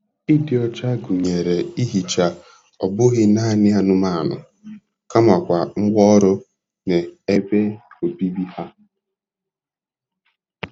Ịdị ọcha gụnyere ihicha ọ bụghị naanị anụmanụ kamakwa ngwá ọrụ na ebe obibi ha.